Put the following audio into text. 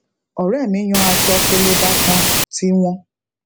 òré mi yan aṣọ peleba kan ti wọn